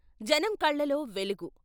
జనం కళ్ళలో వెలుగు.